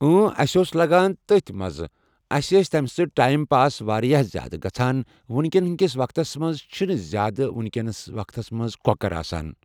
اۭں اسہِ اوس لگان تٔتھۍ مزٕ اسہِ ٲسۍ تِم سۭتۍ ٹایِم پاس واریاہ زیادٕ گژھان ؤنکیٚن کِس وقتس منٛز چھنہٕ زیادٕ کینٛہہ ؤنکیٚن کہِ وقتس منٛز کۄکر آسان۔